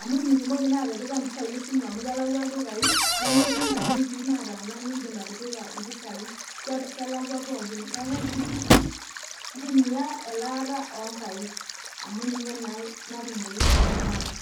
amu mitumoki naa atipikia impisai esimu amu kelakwa ildukai nemetii imbenkii naataaana nindiim atipika impisai kelakwa pookin neeku kibidi intumia elaata oonkaik amu ninye naa natumoyu pooki kata.